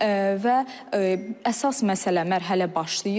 Və əsas məsələ, mərhələ başlayır.